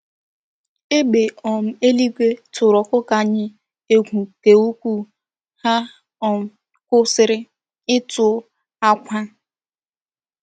égbè um eluigwe tụrụ ọkụkọ anyị egwu nke ukwuu, ha um kwụsịrị ịtụ akwa.